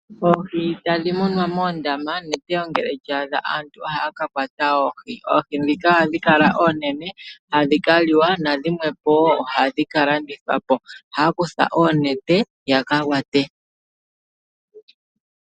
Oohi tadhi munwa moondama neteyo ngele lya adha aantu ohaa ka kwata oohi. Oohi ndhika ohadhi kala oonene hadhi kaliwa nadhimwe po wo ohadhi ka landithwa po, ohaa kutha oonete yaka kwate.